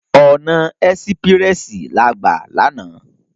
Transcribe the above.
Òná èsipirèsi lá gbá làná